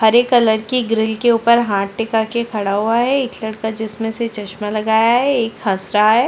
हरे colour की grill के उपर हाथ टिका के खड़ा हुआ है एक लड़का जिसमें से चश्मा लगाया है एक हंस रहा है।